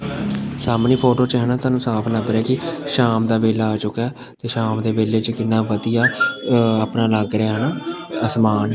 ਸਾਹਮਣੇ ਫ਼ੋਟੋ 'ਚ ਹੈ ਨਾ ਤੁਹਾਨੂੰ ਸਾਫ ਲੱਭ ਰਿਹਾ ਹੈ ਜੀ ਸ਼ਾਮ ਦਾ ਵੇਲਾ ਆ ਚੁੱਕਾ ਐ ਤੇ ਸ਼ਾਮ ਦੇ ਵੇਲੇ 'ਚ ਕਿੰਨਾ ਵਧੀਆ ਅ ਅਪਨਾ ਲੱਗ ਰਿਹਾ ਹੈ ਨਾ ਆਸਮਾਨ।